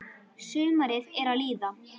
Sumarið er að líða.